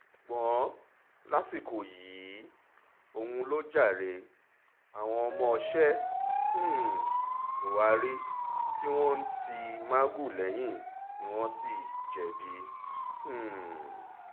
ṣùgbọ́n lásìkò yìí òun ló jàre àwọn ọmọọṣẹ́ um buhari tí wọ́n ti magu lẹ́yìn ni wọ́n sì jẹ̀bi um